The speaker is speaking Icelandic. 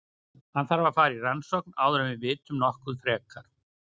Hann þarf að fara í rannsókn áður en við vitum nokkuð frekar.